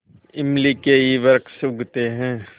इमली के ही वृक्ष उगते हैं